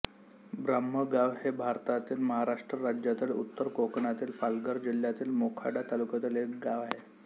ब्रह्मगाव हे भारतातील महाराष्ट्र राज्यातील उत्तर कोकणातील पालघर जिल्ह्यातील मोखाडा तालुक्यातील एक गाव आहे